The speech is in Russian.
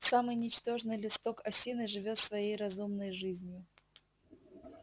самый ничтожный листок осины живёт своей разумной жизнью